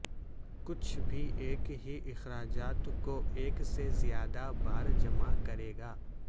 کچھ بھی ایک ہی اخراجات کو ایک سے زیادہ بار جمع کرے گا